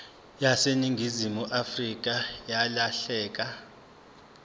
yaseningizimu afrika yalahleka